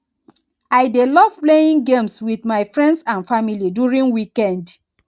i dey love playing games with my friends and family during weekend